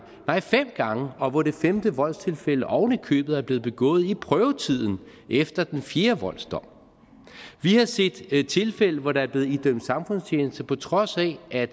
fem gange og hvor det femte voldstilfælde oven i købet er blevet begået i prøvetiden efter den fjerde voldsdom vi har set tilfælde hvor der er blevet idømt samfundstjeneste på trods af at